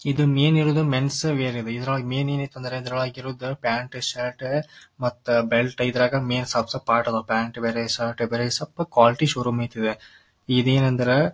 ಇದು ಮೇನ್ ಇರೋದ್ men's wear ಇದ್ರೊಳಗ ಮೇನ್ ಏನ್ ಐತಂದ್ರೆ ಇದ್ರೊಳಗ ಇರೋದ್ ಪ್ಯಾಂಟ್ ಶರ್ಟ್ ಮತ್ತ ಬೆಲ್ಟ್ ಇದ್ರಗ್ ಮೇನ್ ಸಪ್ ಸಪ್ ಪಾರ್ಟ್ ಅದ್ವ್ ಪ್ಯಾಂಟ್ ಬೇರೆ ಶರ್ಟ್ ಬೇರೆ ಸಪ್ ಕ್ವಾಲಿಟಿ ಶೋ ರೂಮ್ ಇತ್ವ್ ಇದೇನಂದ್ರೆ--